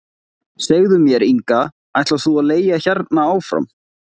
Segðu mér Inga, ætlar þú að leigja hérna áfram?